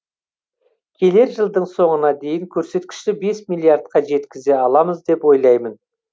келер жылдың соңына дейін көрсеткішті бес миллиардқа жеткізе аламыз деп ойлаймын